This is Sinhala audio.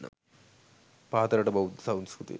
පහත රට බෙෳද්ධ සංස්කෘතිය